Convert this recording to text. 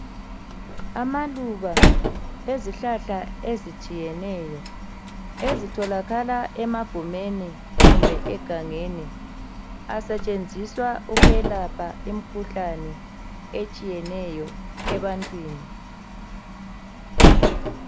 Amaluba ezihlahla ezitshiyeneyo ezitholakala emagumeni loba egangeni asetshenziswa ukwelapha imikhuhlane etshiyeneyo ebantwini